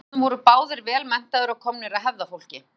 foreldrarnir voru báðir vel menntaðir og komnir af hefðarfólki